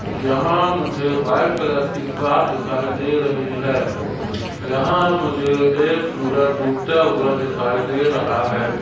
यहाँ मुझे white colour की कार दिखाई दे रही है यहाँ मुझे एक सूरज डूबता हुआ दिखाई दे रहा है।